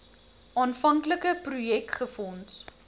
aanvanklike projek befonds